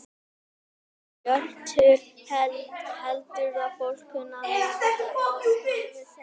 Hjörtur: Heldurðu að fólk kunni að meta þetta skulum við segja?